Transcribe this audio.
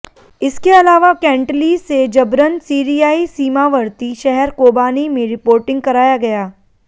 इसके अलावा कैंटली से जबरन सीरियाई सीमावर्ती शहर कोबानी में रिपोर्टिंग कराया गया